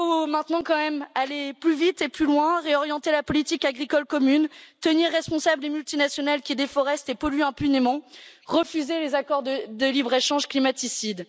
Maintenant, il faut donc aller plus vite et plus loin, réorienter la politique agricole commune, tenir pour responsables des multinationales qui déforestent et polluent impunément, et refuser les accords de de libre échange climaticides.